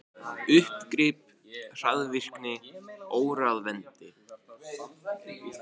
Uppgrip, hroðvirkni, óráðvendni.